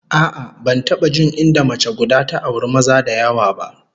A'a, ban taba jin inda mace guda ta auri maza da yawa ba